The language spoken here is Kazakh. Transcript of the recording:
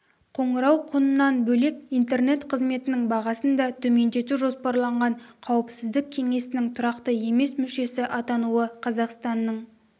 қоңырау құнынан бөлек интернет қызметінің бағасын да төмендету жоспарланған қауіпсіздік кеңесінің тұрақты емес мүшесі атануы қазақстанның